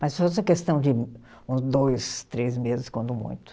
Mas foi só questão de uns dois, três meses, quando muito.